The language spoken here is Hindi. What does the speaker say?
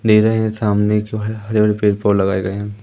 दे रहे हैं सामने जो है हरे र पेड़ पौ लगाये गये हैं।